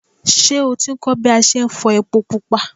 Ṣé o ti kọ́ ń bí a ṣe ń fọ ẹpo pupa?